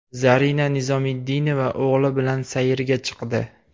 Zarina Nizomiddinova o‘g‘li bilan sayrga chiqdi.